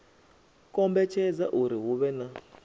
kombetshedza uri hu vhe na